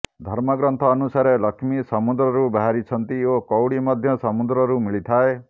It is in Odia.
ଧର୍ମ ଗ୍ରନ୍ଥ ଅନୁସାରେ ଲକ୍ଷ୍ମୀ ସମୁଦ୍ରରୁ ବାହରିଛନ୍ତି ଓ କଉଡି ମଧ୍ୟ ସମୁଦ୍ରରୁ ମିଳିଥାଏ